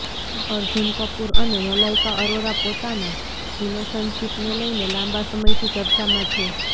અર્જૂન કપૂર અને મલાઇકા અરોરા પોતાના રિલેશનશિપને લઇને લાંબા સમયથી ચર્ચામાં છે